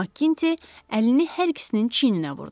Makti əlini hər ikisinin çiyininə vurdu.